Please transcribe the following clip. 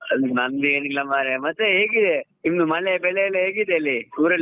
ನಂದು ಏನಿಲ್ಲ ಮಾರಾಯ ಮತ್ತೆ ಹೇಗಿದೆ ನಿಮ್ ಮಳೆ ಬೆಳೆ ಎಲ್ಲ ಹೇಗಿದೆ ಅಲ್ಲಿ ಊರಲ್ಲಿ?